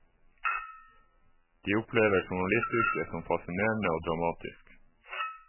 De opplever journalistyrket som fascinerende og dramatisk.